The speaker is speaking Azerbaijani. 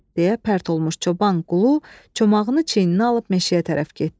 deyə pərt olmuş çoban qulu çomağını çiyninə alıb meşəyə tərəf getdi.